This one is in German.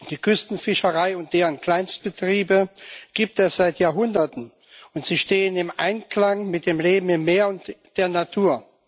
Die Küstenfischerei und deren Kleinstbetriebe gibt es seit Jahrhunderten, und sie stehen im Einklang mit dem Leben im Meer und der Natur.